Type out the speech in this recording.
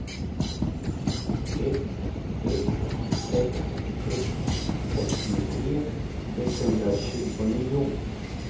ett ett sex ett sextiotre etthundratjugonio